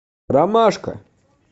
ромашка